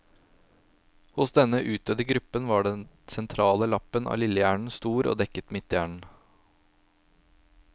Hos denne utdødde gruppen var den sentrale lappen av lillehjernen stor og dekket midthjernen.